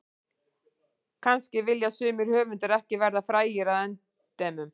Kannski vilja sumir höfundar ekki verða frægir að endemum.